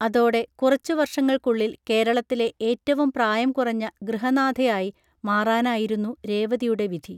അതോടെ കുറച്ചു വർഷങ്ങൾക്കുള്ളിൽ കേരളത്തിലെ ഏറ്റവും പ്രായംകുറഞ്ഞ ഗൃഹനാഥയായി മാറാനായിരുന്നു രേവതിയുടെ വിധി